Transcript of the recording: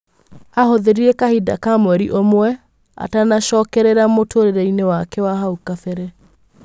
Ahũthĩrire kahinda ka mwerĩ ũmwe atanacokerera mũtũrĩreinĩ wake wa hau kabere.